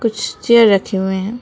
कुछ चेयर रखे हुए हैं।